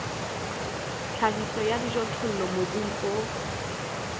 tlhahiso ya dijothollo mobung o